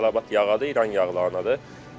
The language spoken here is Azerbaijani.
Ən çox tələbat yağadır, İran yağlarınadır.